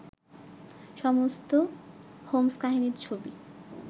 সমস্ত হোম্স্-কাহিনীর ছবি